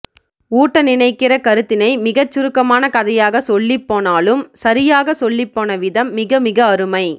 ஊட்ட நினைக்கிற கருத்தினை மிகச் சுருக்கமான கதையாகச் சொல்லிப்போனாலும் சரியாக சொல்லிப் போனவிதம் மிக மிக அருமை